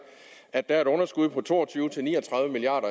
at der er et underskud på to og tyve til ni og tredive milliard